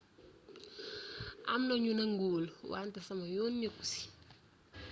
am na ñu nanguwul wante sama yoon nekku ci